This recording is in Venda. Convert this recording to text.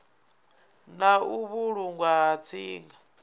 na u vhulungwa ha tsinga